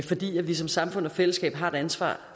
fordi vi som samfund og fællesskab har et ansvar